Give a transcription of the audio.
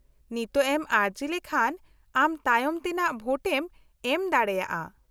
-ᱱᱤᱛᱳᱜ ᱮᱢ ᱟᱹᱨᱡᱤ ᱞᱮᱠᱷᱟᱱ ᱟᱢ ᱛᱟᱭᱚᱢ ᱛᱮᱱᱟᱜ ᱵᱷᱳᱴᱮᱢ ᱮᱢ ᱫᱟᱲᱮᱭᱟᱜᱼᱟ ᱾